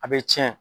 A bɛ tiɲɛ